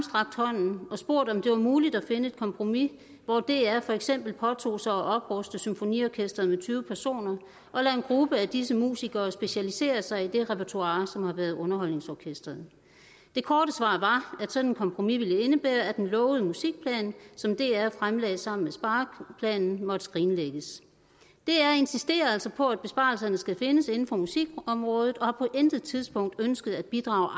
og spurgt om det var muligt at finde et kompromis hvor dr for eksempel påtog sig at opruste symfoniorkesteret med tyve personer og lod en gruppe af disse musikere specialisere sig i det repertoire som har været underholdningsorkestrets det korte svar var at sådan et kompromis ville indebære at den lovede musikplan som dr fremlagde sammen med spareplanen måtte skrinlægges dr insisterer altså på at besparelserne skal findes inden for musikområdet og har på intet tidspunkt ønsket at bidrage